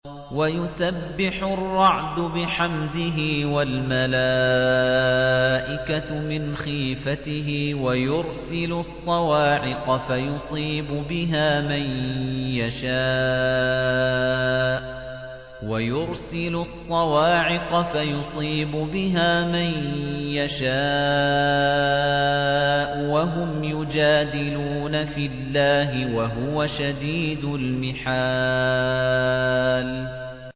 وَيُسَبِّحُ الرَّعْدُ بِحَمْدِهِ وَالْمَلَائِكَةُ مِنْ خِيفَتِهِ وَيُرْسِلُ الصَّوَاعِقَ فَيُصِيبُ بِهَا مَن يَشَاءُ وَهُمْ يُجَادِلُونَ فِي اللَّهِ وَهُوَ شَدِيدُ الْمِحَالِ